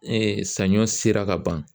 sanɲɔ sera ka ban